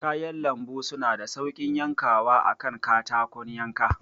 Kayan lambu suna da sauƙin yankawa a kan katakon yanka.